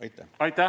Aitäh!